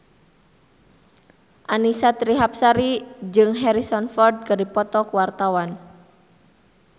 Annisa Trihapsari jeung Harrison Ford keur dipoto ku wartawan